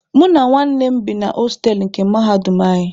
Mụ na nwanne m bi na hostelụ nke mahadum anyị.